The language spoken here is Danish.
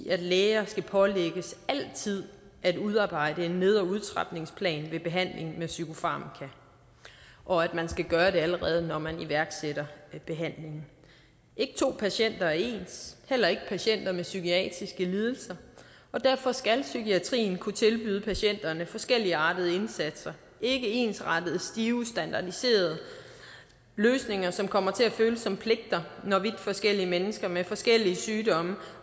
i at læger skal pålægges altid at udarbejde en ned og udtrapningsplan ved behandling med psykofarmaka og at man skal gøre det allerede når man iværksætter behandlingen ikke to patienter er ens heller ikke patienter med psykiatriske lidelser og derfor skal psykiatrien kunne tilbyde patienterne forskelligartede indsatser ikke ensrettede stive standardiserede løsninger som kommer til at føles som pligter når vidt forskellige mennesker med forskellige sygdomme